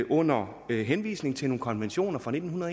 under henvisning til nogle konventioner fra nitten